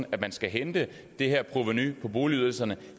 at man skal hente det her provenu på boligydelserne